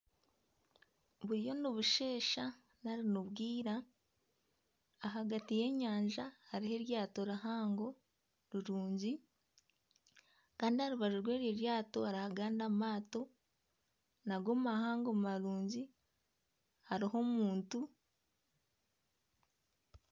Buriyo nibusheesha nari nibwira, ahagati y'enyanja hariho eryato rihango rirungi kandi aha rubaju rw'eryo eryato hariho agandi amaato nago mahango marungi hariho omuntu